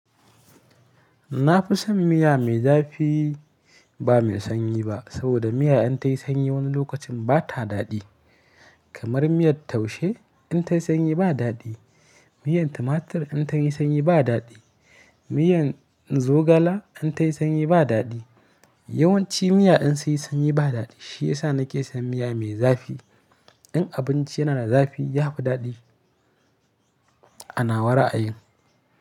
Na fi son miya mai zafi ba mai sanyi ba. Saboda miya in ta yi sanyi wani lokacin ba ta daɗi. Kamar miyar taushe in ta yi sanyi ba daɗi, miyan tumatur in ta yi sanyi ba daɗi, miyan zogala in ta yi sanyi ba daɗi. Yawanci miya in sun yi sanyi ba daɗi. Shiyasa na ke son miya mai zafi. In abinci yana da zafi, ya fi daɗi a nawa ra'ayin.